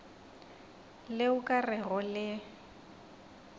le o ka rego le